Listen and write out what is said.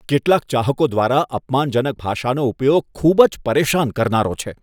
કેટલાક ચાહકો દ્વારા અપમાનજનક ભાષાનો ઉપયોગ ખૂબ જ પરેશાન કરનારો છે.